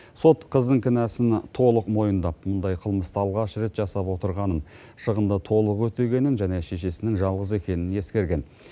сот қыздың кінәсін толық мойындап мұндай қылмысты алғаш рет жасап отырғанын шығынды толық өтегенін және шешесінің жалғыз екенін ескерген